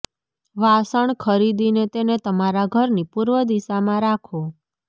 વાસણ ખરીદીને તેને તમારા ઘરની પૂર્વ દિશા માં રાખો